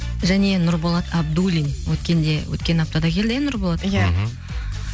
және нұрболат абдуллин өткенде өткен аптада келді иә нұрболат